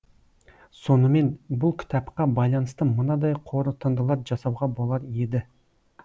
сонымен бұл кітапқа байланысты мынадай қорытындылар жасауға болар еді